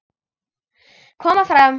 Koma fram!